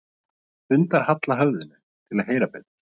Hundar halla höfðinu til að heyra betur.